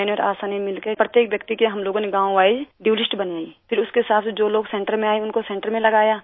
मैंने और आशा ने मिलके प्रत्येक व्यक्ति की गाँवwise ड्यू लिस्ट बनाई फिर उसके हिसाब से जो लोग सेंटर में आये उनको सेंटर में लगाया